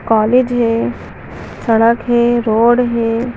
College है सड़क है रोड है।